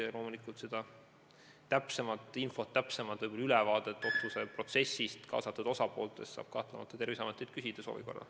Ja loomulikult saab täpsemat infot otsuse tagamaadest ja kaasatud osapooltest Terviseametilt küsida.